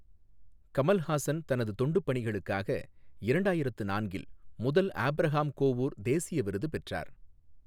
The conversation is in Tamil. கமல்ஹாசன் தனது தொண்டுப் பணிகளுக்காக இரண்டாயிரத்து நான்கில் முதல் ஆபிரஹாம் கோவூர் தேசிய விருது பெற்றார்.